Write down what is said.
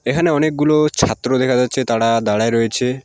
এখানে অনেকগুলো ছাত্র দেখা যাচ্ছে তারা দাঁড়াই রয়েছে।